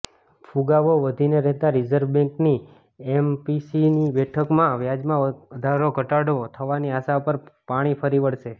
ફુગાવો વધીને રહેતાં રિઝર્વ બેન્કની એમપીસીની બેઠકમાં વ્યાજરમાં ઘટાડો થવાની આશા પર પાણી ફરી વળશે